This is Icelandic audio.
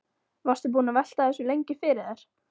Varstu búinn að velta þessu lengi fyrir þér?